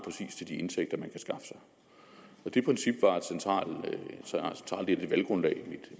til de indtægter man kan skaffe sig det princip var centralt i det valggrundlag